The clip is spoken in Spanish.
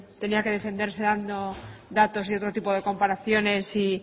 tenía que defenderse dando datos y otros tipos de comparaciones y